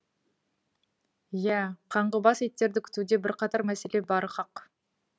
иә қаңғыбас иттерді күтуде бірқатар мәселе бары хақ